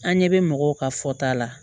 An ɲɛ bɛ mɔgɔw ka fɔta la